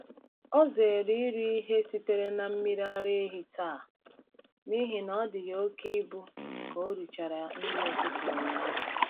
Ọ zere iri ihe sitere na mmiri ara ehi taa n’ihi na ọ dị ya oke ibu ka ọ richara nri ụtụtụ ụnyaahụ.